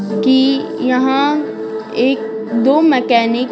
कि यहाँ एक-दो मैकेनिक --